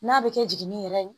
N'a bɛ kɛ jigini yɛrɛ ye